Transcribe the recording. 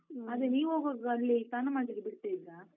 ಅಲ್ಲ, ನೀವ್ ಹೋಗುವಾಗ ಅಲ್ಲಿ ಸ್ನಾನ ಮಾಡ್ಲಿಕ್ಕೆ ಬಿಡ್ತಾ ಇದ್ದ್ರಾ?